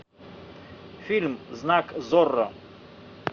фильм знак зорро